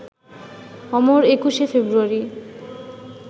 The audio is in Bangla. অমর একুশে ফেব্রুয়ারি